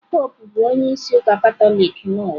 Popụ bụ onye isi ụka Katọlik n'ụwa.